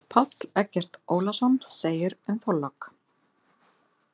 Páll Eggert Ólason segir um Þorlák.